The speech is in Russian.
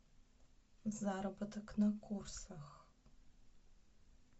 заработок на курсах